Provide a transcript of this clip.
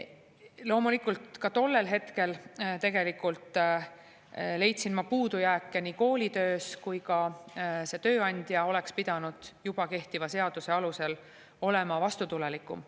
Loomulikult, tollel hetkel leidsin ma puudujääke kooli töös, aga ka see tööandja oleks pidanud juba kehtiva seaduse alusel olema vastutulelikum.